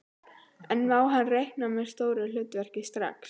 En má hann reikna með stóru hlutverki strax?